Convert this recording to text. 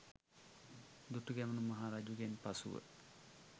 දුටුගැමුණු මහ රජුගෙන් පසුව